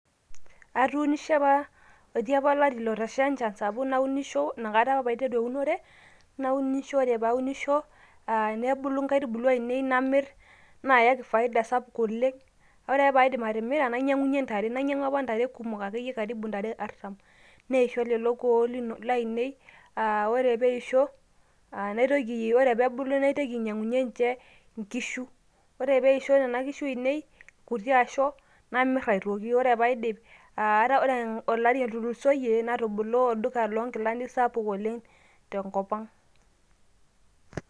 Atuunishe apa, etii apa olari otasha encham sapuk naunisho apa inakata apa paiteru eunore naunisho ore paunisho nebulu nkaitubulu ainei namir nayaki faida sapuk oleng ,ore qke paidim atimira nainyangunyie ntare, nainyangu ntare akeyie kumok karibu ntare arsam neishoo lolo kuon lainie aa ore peisho aa naitoki aa ore peebulu naitoki ainyangunyie nye nkishu ore peisho nona kishu ainei aiu irkuti asho namir aitoki ore paidip aa ore olari otulusoyie natobolo olduka lonkilani sapuk oleng tenkop aang.